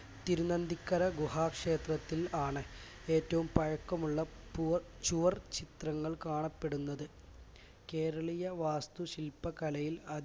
തിരുനന്ദിക്കര ഗുഹാ ക്ഷേത്രത്തിൽ ആണ് ഏറ്റവും പഴക്കമുള്ള പുവർ ചുവർ ചിത്രങ്ങൾ കാണപ്പെടുന്നത്. കേരളീയ വാസ്തുശിൽപ കലയിൽ